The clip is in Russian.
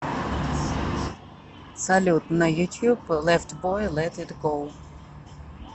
салют на ютьюб лефт бой лет ит гоу